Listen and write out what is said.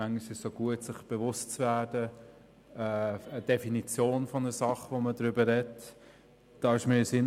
Manchmal ist es gut, sich der Definition der Sache, über die man spricht, bewusst zu werden.